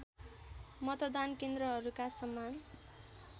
मतदान केन्द्रहरूका समान